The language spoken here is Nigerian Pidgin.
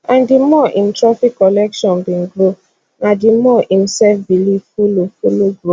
and di more im trophy collection bin grow na di more im selfbelief follow follow grow